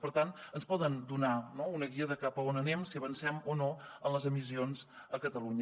per tant ens poden donar no una guia de cap a on anem de si avancem o no en les emissions a catalunya